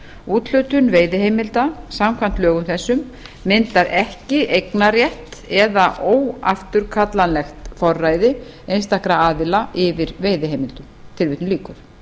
úthlutun veiðiheimilda samkvæmt lögum þessum myndar ekki eignarrétt eða óafturkallanlegt forræði einstakra aðila yfir veiðiheimildum tilvitnun lýkur